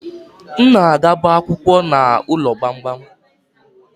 M na-agabu akwukwo n'ụlọ gbamgbam